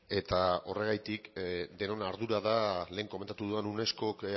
eta horregatik denon ardura da lehen komentatu dudan unescok